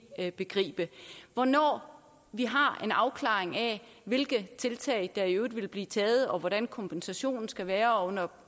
ikke begribe hvornår vi har en afklaring af hvilke tiltag der i øvrigt vil blive taget og hvordan kompensationen skal være og under